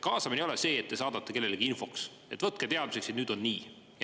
Kaasamine ei ole see, et te saadate kellelegi infoks, et võtke teadmiseks, et nüüd on nii.